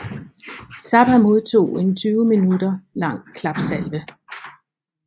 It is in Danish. Zappa modtog en 20 minutter lang klapsalve